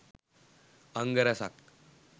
අංග රැසක්